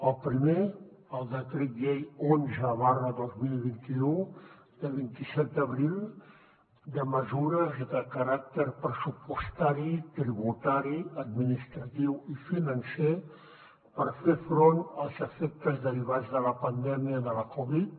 el primer el decret llei onze dos mil vint u de vint set d’abril de mesures de caràcter pressupostari tributari administratiu i financer per fer front als efectes derivats de la pandèmia de la covid